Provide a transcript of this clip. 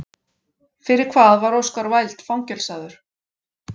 Fyrir hvað var Oscar Wilde fangelsaður?